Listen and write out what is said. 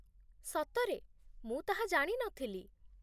ସତରେ? ମୁଁ ତାହା ଜାଣି ନଥିଲି।